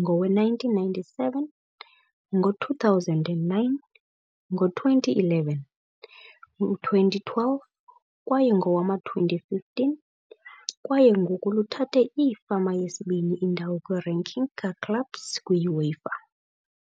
ngowe-1997, ngo-2009, ngo-2011, 2012 kwaye ngowama-2015, kwaye ngoku luthathe iifama yesibini indawo kwi - ranking ka-clubs kwi-UEFA.